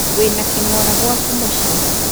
Wĩna kĩng'ora gwaku mũciĩ